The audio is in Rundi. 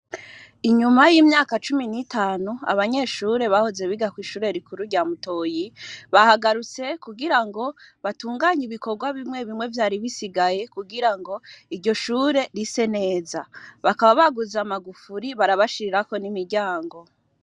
Inyuma yimyaka cumi n'itanu abanyeshure bahoze biga kwishure rikuru rya Mutoyi bahagarutse kugirango batunganye ibikorwa bimwe bimwe vyari bisigaye kugirango iryo shure rise neza, bakaba baguze amagufuri barabashirirako n'imiryango.